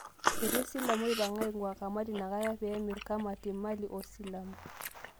Etii silamu oipang'aaing'ua kamati inakata pee emirr kamati mali oo silamu